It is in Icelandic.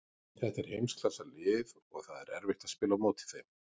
Þetta er heimsklassa lið og það er erfitt að spila á móti þeim.